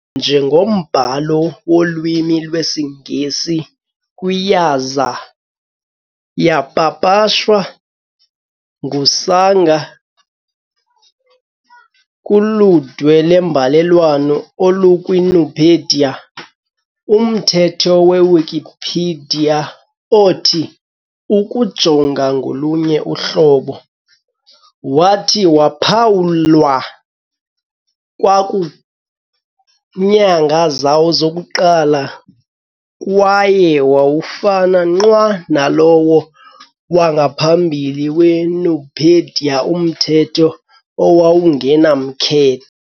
njengombhalo wolwimi lwesiNgesi kwi- yaza yapapashwa nguSanger kuludwe lwembalelwano olukwiNupedia. Umthetho weWikipedia othi "ukujonga ngolunye uhlobo" wathi waphawulwa kwakunyanga zawo zokuqala, kwaye wawufana nqwa nalowo wangaphambili weNupedia umthetho "owawungenamkhe".